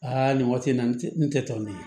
nin waati in na n tɛ n tɛ tɔ min